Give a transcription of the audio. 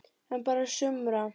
En bara sumra.